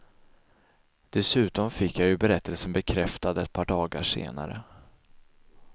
Dessutom fick jag ju berättelsen bekräftad ett par dagar senare.